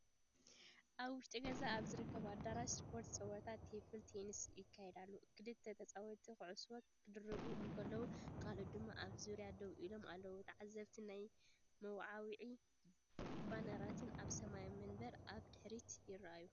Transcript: ኣብ ውሽጢ ገዛ ኣብ ዝርከብ ኣዳራሽ ስፖርት ጸወታ ቴብል ቴኒስ ይካየድ ኣሎ። ክልተ ተጻወትቲ ኩዕሶ ክድርብዩ እንከለዉ፡ ካልኦት ድማ ኣብ ዙርያኦም ደው ኢሎም ኣለዉ። ተዓዘብትን ናይ መወዓውዒ ባነራትን ኣብ ሰማያዊ መንበር ኣብ ድሕሪት ይረኣዩ።